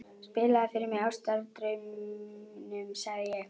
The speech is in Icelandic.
Spilaðu fyrr mig Ástardrauminn, sagði ég.